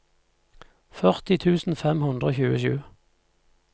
førti tusen fem hundre og tjuesju